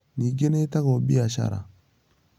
Ningĩ nĩ ĩĩtagwo biacara.